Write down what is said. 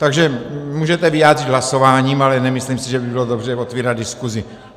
Takže můžete vyjádřit hlasováním, ale nemyslím si, že by bylo dobře otevírat diskusi.